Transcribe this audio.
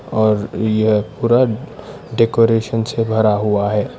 और यह पूरा डेकोरेशन से भरा हुआ है।